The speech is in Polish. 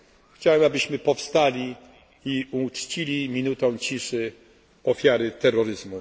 Chciałem, abyśmy powstali i uczcili minutą ciszy ofiary terroryzmu